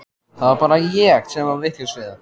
Það var bara ég sem var vitlaus í það.